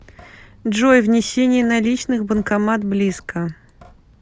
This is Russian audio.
джой внесение наличных банкомат близко